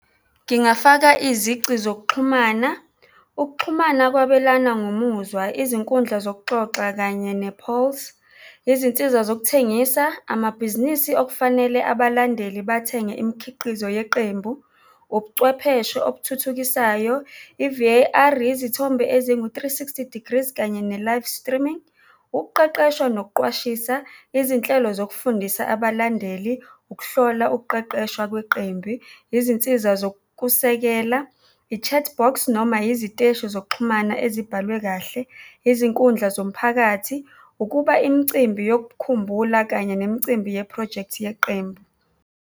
Ngingafaka izici zokuxhumana. Ukuxhumana kwabelana ngomuzwa, izinkundla zokuxoxa kanye , izinsiza zokuthengisa, amabhizinisi okufanele abalandeli bathenge imikhiqizo yeqembu, ubuchwepheshe okuthuthukisayo, i-V_A_R, izithombe ezingu-three sixty degrees kanye ne-live streaming. Ukuqeqeshwa nokuqwashisa izinhlelo zokufundisa abalandeli, ukuhlola ukuqeqeshwa kweqembi, izinsiza zokusekela, i-chat box noma iziteshi zokuxhumana ezibhalwe kahle, izinkundla zomphakathi, ukuba imicimbi yokukhumbula kanye nemicimbi yephrojekthi yeqembu.